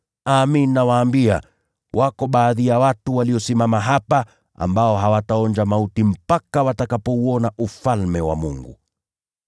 Amin, nawaambia, wako baadhi ya watu waliosimama hapa ambao hawataonja mauti kabla ya kuuona Ufalme wa Mungu.”